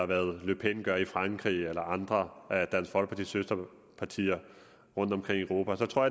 hvad le pen gør i frankrig eller hvad andre af dansk folkepartis søsterpartier rundtomkring i europa gør tror